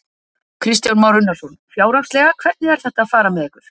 Kristján Már Unnarsson: Fjárhagslega, hvernig er þetta að fara með ykkur?